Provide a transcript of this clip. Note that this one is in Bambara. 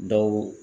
Dɔw